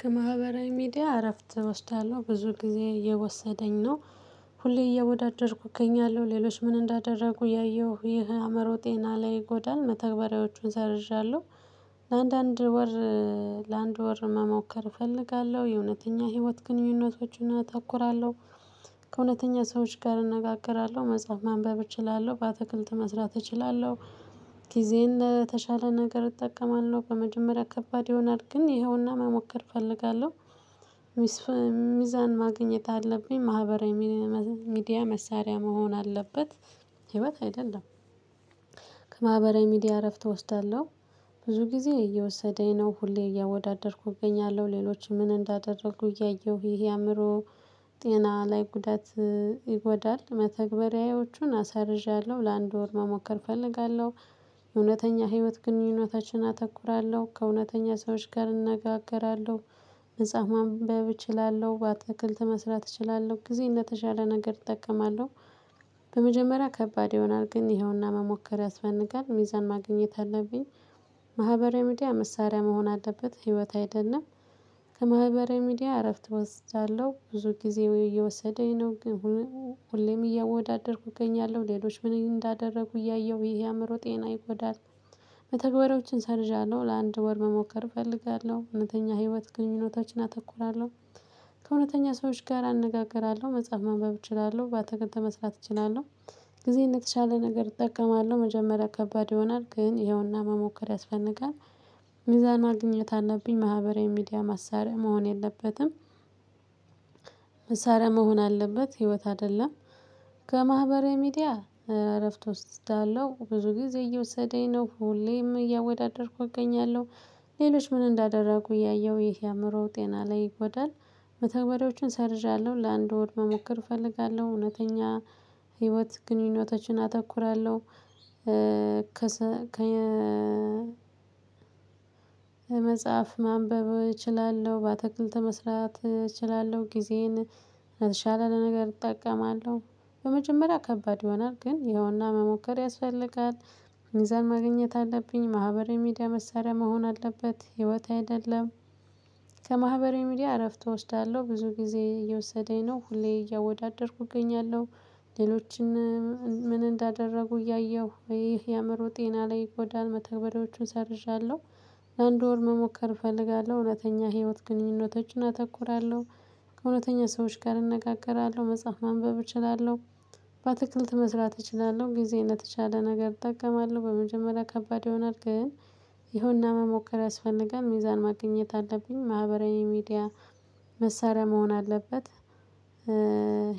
ከማህበራዊ ሚዲያ እረፍት እወስዳለሁ ብዙ ጊዜ እየወሰደኝ ነው። ሁሌ እየወዳደርኩ እገኛለሁ ሌሎች ምን እንዳደረጉ ያየሁህ ይሄ አእመሮ ጤና ላይ ይጎዳል መተግበሪያዎቹን ሰርዣለሁ። ለአንዳንድ ወር። ለአንድ ወር መሞከር እፈልጋለሁ የእውነተኛ ህይወት ግንኙነቶችን አተኩራለሁ። ከእውነተኛ ሰዎች ጋር እንነጋገራለሁ መጽሐፍ ማንበብ እችላለሁ በአትክልት መስራት እችላለሁ። ጊዜን ለተሻለ ነገር እጠቀማለሁ በመጀመሪያ ከባድ ይሆናል ግን ይኸውና መሞከር እፈልጋለሁ። ሚዛን ማግኘት አለብኝ ማህበራዊ ሚዲያ መሳሪያ መሆን አለበት። ህይወት አይደለም። ከማህበራዊ ሚዲያ እረፍት እወስዳለሁ። ብዙ ጊዜ እየወሰደኝ ነው ሁሌ እያወዳደርኩ እገኛለሁ ሌሎችም ምን እንዳደረጉ እያየሁ ይሄ አእምሮ ጤና ላይ ጉዳት ይጎዳል። መተግበሪያዎቹን አሳርዣለሁ ለአንድ ወር መሞከር እፈልጋለሁ። የእውነተኛ ህይወት ግንኙነታችንን አተኩራለሁ ከእውነተኛ ሰዎች ጋር እንነጋገራለሁ። መጽሐፍ ማንበብ እችላለሁ በአትክልት መስራት እችላለሁ ጊዜየን ተሻለ ነገር እጠቀማለሁ። በመጀመሪያ ከባድ ይሆናል ግን ይኸውና መሞከሪያ ያስፈጋል ሚዛን ማግኘት አለብኝ። ማህበራዊ ሚዲያ መሳሪያ መሆን አለበት ህይወት አይደለም። ከማህበራዊ ሚዲያ እረፍት ወስዳለሁ ብዙ ጊዜ ወይ እየወሰደኝ ነው ግን ሁሌም እያወዳደርኩ እገኛለሁ ሌሎች ምን እንዳደረጉ እያየሁ ወይ ይሄ ያምሮ ጤና ይጎዳል። መተግበሪያዎችን ሰርዣለሁ ለአንድ ወር መሞከር እፈልጋለሁ እውነተኛ ህይወት ግን ህይወታች ግንኙነቶችን አተኩራለሁ። ከእውነተኛ ሰዎች ጋር እነጋግራለሁ መጽሐፍ ማንበብ እችላለሁ ባትክልት መስራት እችላለሁ። ጊዜየን ለተሻለ ነገር እጠቀማለሁ መጀመሪያ ከባድ ይሆናል ግን ይኸውና መሞከር ያስፈልጋል። ሚዛን ማግኘት አለብኝ ማህበራዊ ሚዲያ ማሳሪያ መሆን የለበትም። መሳሪያ መሆን አለበት ህይወት አደለም። ከማህበራዊ ሚዲያ እረፍት ወስዳለው ብዙ ጊዜ እየወሰደኝ ነው ሁሌም እያወዳደርኩ አገኛለሁ። ሌሎች ምን እንዳደረጉ እያየሁ ይህ አእምሮ ጤና ላይ ይጎዳል። መተግበሪያዎችን ሰርዣለሁ ለአንድ ወር መሞከር እፈልጋለሁ። እውነተኛ ህይወት ግንኙነቶችን አተኩራለሁ። ከ መጽሐፍ ማንበብ እችላለሁ በአትክልት መስራት እችላለሁ ጊዜን የተሻለም ነገር እጠቀማለሁ። በመጀመሪያ ከባድ ይሆናል ግን ይኸውና መሞከር ያስፈልጋል። ሚዛን ማግኘት አለብኝ ማህበረ ሚዲያ መሳሪያ መሆን አለበት ህይወት አይደለም። ከማህበራዊ ሚዲያ እረፍት እወስዳለሁ ብዙ ጊዜ እየወሰደኝ ነው ሁሌ እያወዳደርኩ እገኛለሁ። ሌሎችን ምን እንዳደረጉ እያየሁ ይሄ የአእምሮ ጤና ላይ ይጎዳል መተግበሪያዎቹን ሰርዣለሁ። ለአንድ ወር መሞከር እፈልጋለሁ እውነተኛ ህይወት ግንኙነቶችን አተኩራለሁ። ከእውነተኛ ሰዎች ጋር እንነጋገራለሁ መጽሐፍ ማንበብ እችላለሁ። በአትክልት መስራት እችላለሁ ጊዜ የተቻለ ነገር እጠቀማለሁ በመጀመሪያ ከባድ ይሆናል ግን ይሁንና መሞከር ያስፈልጋል ሚዛን ማግኘት አለብኝ ማህበራዊ ሚዲያ መሳርያ መሆን አለበት።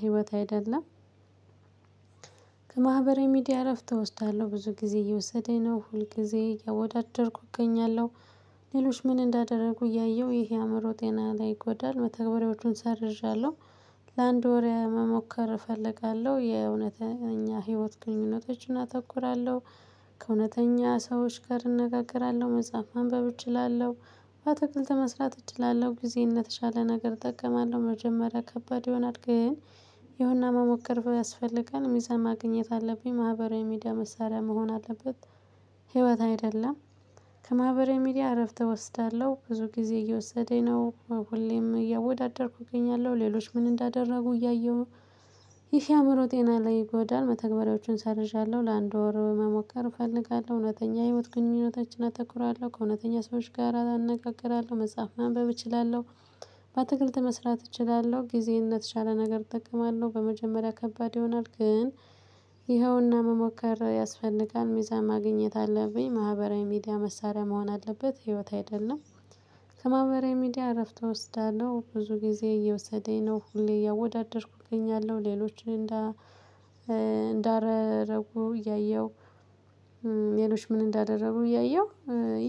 ህይወት አይደለም። ከማህበራዊ ሚዲያ እረፍት እወስዳለሁ ብዙ ጊዜ እየወሰደኝ ነው ሁል ጊዜ እያወዳደርኩ እገኛለሁ። ሌሎች ምን እንዳደረጉ እያየሁ ይሄ የአእምሮ ጤና ላይ ይጎዳል መተግበሪያዎቹን ሳደርዝለሁ ለአንድ ወር መሞከር እፈልጋለሁ የእውነተኛ ህይወት ግንኙነቶችን አተኩራለሁ። ከእውነተኛ ሰዎች ጋር እነጋገራለሁ መጽሐፍ ማንበብ እችላለሁ። አተክልተ መስራት እችላለሁ ጊዜ እነተሻለ ነገር እጠቀማለሁ መጀመሪያ ከባድ ይሆናል ግን ይሄንን መሞከር ቢያስፈልገን የሚሰማ ማግኝት አለብኝ ማህበራዊ ሚዲያ መሳሪያ መሆን አለበት። ህይወት አይደለም። ከማህበራዊ ሚዲያ እረፍት እወስዳለሁ ብዙ ጊዜ እየወሰደኝ ነው። ሁሌም እያወዳደርኩ እገኛለሁ ሌሎች ምን እንዳደረጉ እያየሁ። ይሄ አእምሮ ጤና ላይ ይጎዳል መተግበሪያዎችን ሰርዣለሁ ለአንድ ወር መሞከር እፈልጋለሁ እውነተኛ የህይወት ግንኙነታችን አተኩራለሁ ከእውነተኛ ሰዎች ጋር አነጋግራለሁ መጽሐፍ ማንበብ እችላለሁ። በትክክልት መስራት እችላለሁ ጊዜነት የቻለ ነገር እጠቀማለሁ በመጀመሪያ ከባድ ይሆናል ግን ይኸውና መሞከር ያስፈልጋል ሚዛን ማግኘት አለብኝ ማህበራዊ ሚዲያ መሳሪያ መሆን አለበት ህይወት አይደለም። ከማህበራዊ ሚዲያ እረፍት እወስዳለሁ ብዙ ጊዜ እየወሰደኝ ነው ሁሌ እያወዳደርኩኝ እገኛለሁ ሌሎችን እንዳረጉ እያየሁ የሌሎች ምን እንዳደረጉ እያየሁ።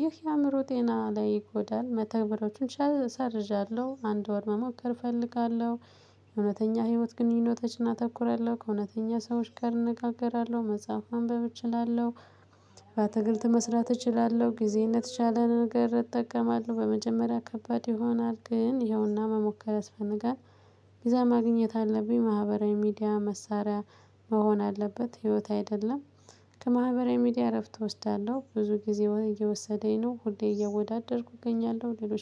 ይህ የአእምሮ ጤና ላይ ይጎዳል። መተግበሮችን ሰርዣለሁ አንድ ወር መሞከር እፈልጋለሁ። እውነተኛ ህይወት ግንኙነቶችን እናተኩረለሁ ከእውነተኛ ሰዎች ጋር እነጋገራለሁ መጽሐፍ ማንብብ እችላለሁ። ትግልት መስራት እችላለሁ ጊዜነት ለተሻለ ነገር እጠቀማለሁ በመጀመሪያ ከባድ ይሆናል ግን ያውና መሞከር አስፈነጋሪ። ሚዛን ማግኘት አለብኝ ማህበራዊ ሚዲያ መሳሪያ መሆን አለበት ህይወት አይደለም። ከማህበራዊ ሚዲያ እረፍት እወስዳለሁ ብዙ ጊዜ እየወሰደኝ ነው ሁሌ እየወዳደርኩ እገኛለሁ ሌሎች